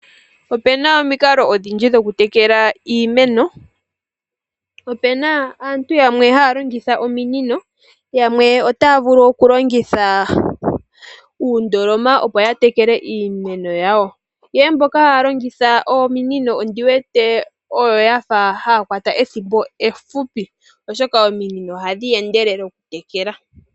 Opena omikalo odhindji dhoku tekela iimeno. Opena aantu yamwe haya longitha omunino yamwe otaya vulu okulongitha uundoloma opo ya tekele iimeno yawo. Ihe mboka haya longitha omunino ondiwete oyo yafa haa kwata ethimbo ehupi oshoka ominino ohadhi endelele oku tekela.